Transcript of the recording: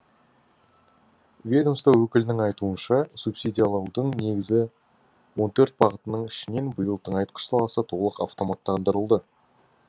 ведомство өкілінің айтуынша субсидиялаудың негізгі он төрт бағытының ішінен биыл тыңайтқыш саласы толық автоматтандырылды